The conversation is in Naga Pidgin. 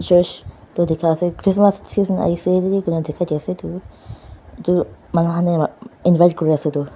church toh dikha ase Christmas season ahiase itu manu khan ney invite kuriase itu.